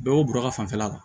Bɛɛ y'o bɔrɔ ta fanfɛla kan